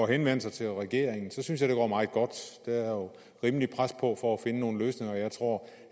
henvendelse til regeringen synes jeg det var meget godt der er jo rimeligt pres på for at finde nogle løsninger jeg tror